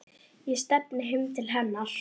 Ég stefni heim til hennar.